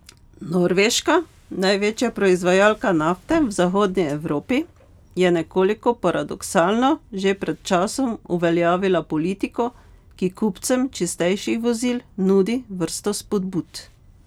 Norveška, največja proizvajalka nafte v zahodni Evropi, je nekoliko paradoksalno že pred časom uveljavila politiko, ki kupcem čistejših vozil nudi vrsto spodbud.